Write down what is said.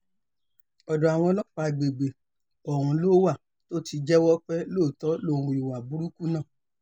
ọ̀dọ̀ àwọn ọlọ́pàá àgbègbè ọ̀hún ló wà tó ti jẹ́wọ́ pé lóòótọ́ lòún hu ìwà burúkú náà